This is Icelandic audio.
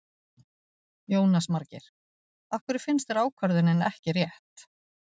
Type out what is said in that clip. Jónas Margeir: Af hverju finnst þér ákvörðunin ekki rétt?